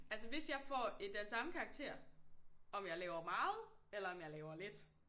Altså hvis jeg får den samme karakter om jeg laver meget eller om jeg laver lidt